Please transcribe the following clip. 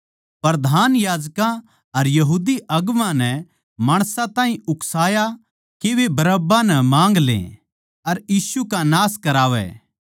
प्रधान याजकां अर यहूदी अगुवां नै माणसां ताहीं उकसाया के वे बरअब्बा नै माँग ले अर यीशु का नाश करावै